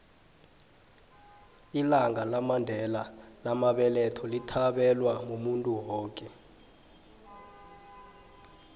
ilanga lamandela lamabeletho lithabelwa muntu woke